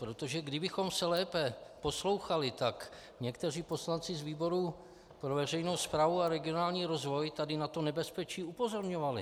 Protože kdybychom se lépe poslouchali, tak někteří poslanci z výboru pro veřejnou správu a regionální rozvoj tady na toto nebezpečí upozorňovali.